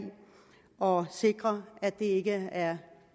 og sikre at det ikke er